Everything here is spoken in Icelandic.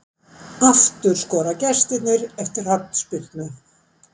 Aftur skora gestirnir eftir hornspyrnu